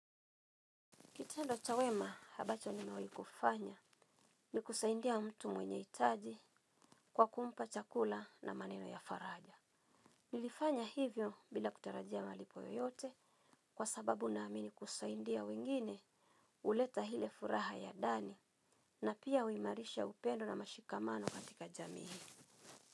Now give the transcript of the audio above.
Kitendo cha wema ambacho nimewahi kufanya ni kusaidia mtu mwenye hitaji, kwa kumpa chakula na maneno ya faraja. Nilifanya hivyo bila kutarajia malipo yoyote, kwa sababu naamini kusaidia wengine huleta ile furaha ya ndani. Na pia huimarisha upendo na mashikamano katika jamii.